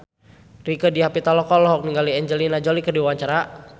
Rieke Diah Pitaloka olohok ningali Angelina Jolie keur diwawancara